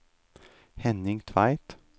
Henning Tveit